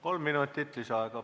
Kolm minutit lisaaega.